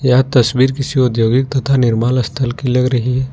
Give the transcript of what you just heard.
यह तस्वीर किसी औद्योगिक तथा निर्मल स्थल की लग रही है।